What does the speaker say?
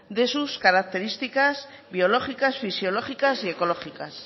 de sus características biológicas fisiológicas y ecológicas